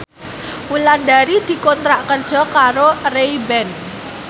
Wulandari dikontrak kerja karo Ray Ban